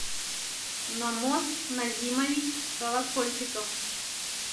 намоз назимович колокольчиков